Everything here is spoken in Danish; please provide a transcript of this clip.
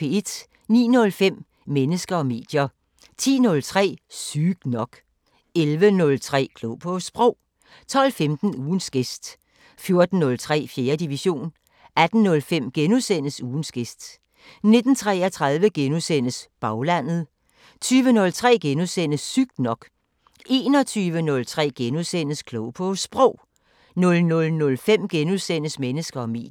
09:05: Mennesker og medier 10:03: Sygt nok 11:03: Klog på Sprog 12:15: Ugens gæst 14:03: 4. division 18:05: Ugens gæst * 19:33: Baglandet * 20:03: Sygt nok * 21:03: Klog på Sprog * 00:05: Mennesker og medier *